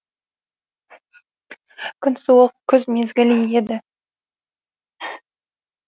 күн суық күз мезгілі еді